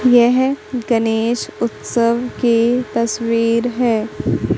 यह गणेश उत्सव के तस्वीर है।